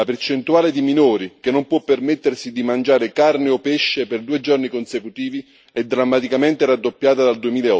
La percentuale di minori che non può permettersi di mangiare carne o pesce per due giorni consecutivi è drammaticamente raddoppiata dal